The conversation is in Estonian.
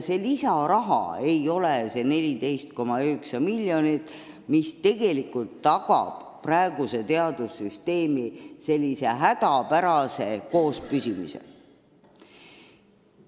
Selleks ei piisa 14,9 miljonist, mis tegelikult tagab praeguse teadussüsteemi hädapärase koospüsimise.